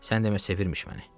Sən demə sevirmiş məni.